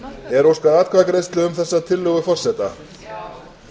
er óskað atkvæðagreiðslu um þessa tillögu forseta